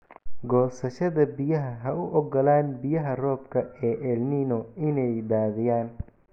Goosashada biyaha Ha u ogolaan biyaha roobka ee El Niño inay daadiyaan.